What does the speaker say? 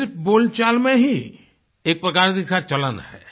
सिर्फ बोलचाल में ही एक प्रकार से इसका चलन है